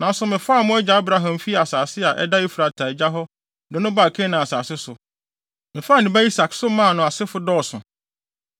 Nanso mefaa mo agya Abraham fii asase a ɛda Efrate agya hɔ de no baa Kanaan asase so. Mefaa ne ba Isak so maa nʼasefo dɔɔso.